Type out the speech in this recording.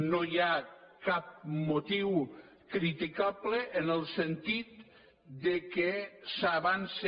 no hi ha cap motiu criticable en el sentit que s’avança